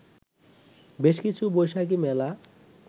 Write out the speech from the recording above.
বেশ কিছু বৈশাখী মেলা